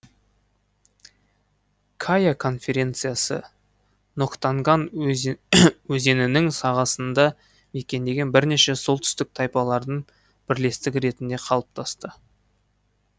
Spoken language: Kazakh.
кая конфедерациясы нактонган өзенінің сағасында мекендеген бірнеше солтүстік тайпалардың бірлестігі ретінде қалыптасты